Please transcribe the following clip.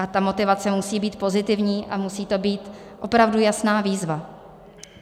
A ta motivace musí být pozitivní a musí to být opravdu jasná výzva.